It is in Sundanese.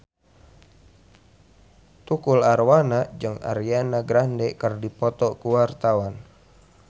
Tukul Arwana jeung Ariana Grande keur dipoto ku wartawan